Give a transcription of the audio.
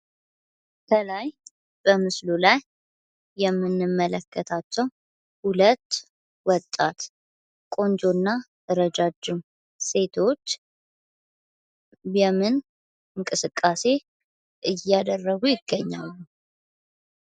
ከላይ በምስሉ ላይ የምንመለከታቸው ሀለት ወጣት ቆንጆና ረጃጅም ሴቶች በምን እንቅስቃሴ እያደረጉ ይገኛሉ?